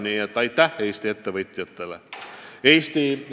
Nii et aitäh Eesti ettevõtjatele!